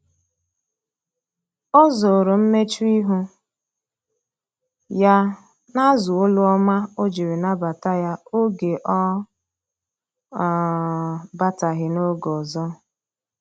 o zoro mmechuihu ya na azu olu ọma ojiri nabata ya oge ọ um bataghi na-oge ọzọ